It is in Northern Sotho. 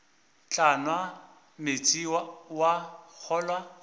tla nwa meetse wa kgolwa